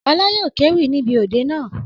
Ọlá yóò kéwì níbi òde naa.